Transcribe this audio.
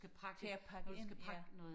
til og pakke ind ja